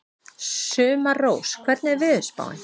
Sumarrós, hvernig er veðurspáin?